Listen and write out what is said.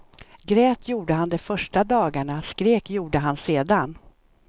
Grät gjorde han de första dagarna, skrek gjorde han sedan.